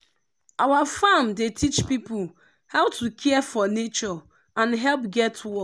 our farm dey teach people how to care for nature and help get work.